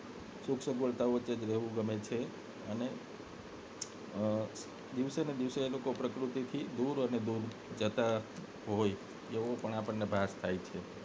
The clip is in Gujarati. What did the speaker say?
સગવડતા વચ્ચે જ રહેવું ગમે છે અને દિવસેને દિવસે એ લોકો પ્રકૃતિથી દૂર અને દૂર જતા હોય એવો પણ આપને ભાસ થાય છે